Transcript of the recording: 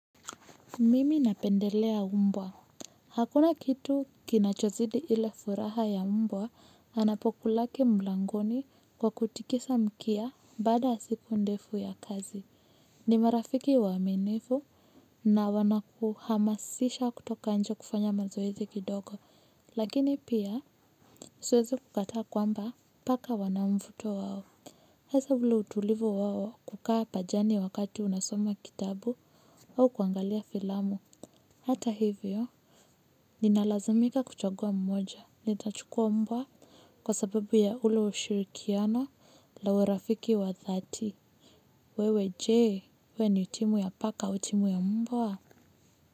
Mimi napendelea mbwa. Hakuna kitu kinachozidi ile furaha ya mbwa anapokulaki mlangoni kwa kutikisa mkia baada ya siku ndefu ya kazi. Ni marafiki waaminifu na wanakuhamasisha kutoka nje kufanya mazoezi kidogo. Lakini pia siwezi kukataa kwamba paka wanamvuto wao. Hasa ule utulivu wao kukaa pajani wakati unasoma kitabu au kuangalia filamu. Hata hivyo, ninalazimika kuchagua mmoja, nitachukua mbwa kwa sababu ya ule ushirikiano la urafiki wa dhati. Wewe je, wewe ni timu ya paka timu ya mbwa?